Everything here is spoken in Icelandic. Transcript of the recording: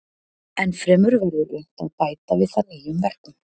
Ennfremur verður unnt að bæta við það nýjum verkum.